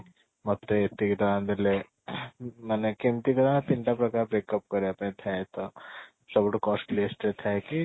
ମତେ ଏତିକି ଟଙ୍କା ଦେଲେ ମାନେ କେମିତି ତିନି ଟା ପ୍ରକାର breakup ପାଇଁ ଥାଏ ତ ସବୁଠୁ cost list ରେ ଥାଏ କି